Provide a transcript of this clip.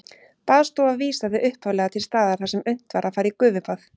Baðstofa vísaði upphaflega til staðar þar sem unnt var að fara í gufubað.